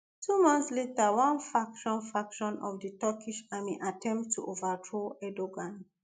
two months later one faction faction of di turkish army attempt to overthrow erdogan